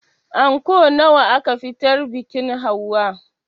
Anko nawa aka fitar biƙin hauwa?